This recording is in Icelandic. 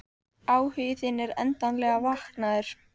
Áhugi þinn er endanlega vaknaður.